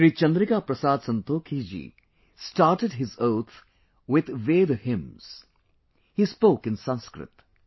Shri Chandrika Prasad Santokhi ji started his oath with Veda hymns; he spoke in Sanskrit